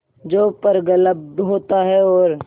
जो प्रगल्भ होता है और